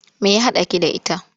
Me ya haɗaki da ita?